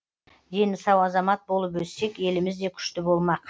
дені сау азамат болып өссек еліміз де күшті болмақ